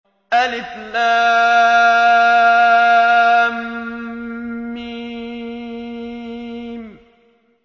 الم